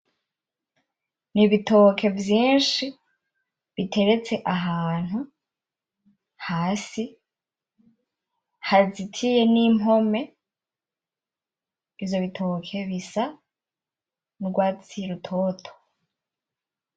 N,ibitoke vyinshi biteretse ahantu hasi hazitiye nimpome , ivyo bitoke bisa nurwatsi rutoto .